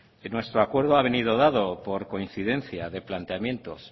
nuestro acuerdo ha venido dado por coincidencia de planteamientos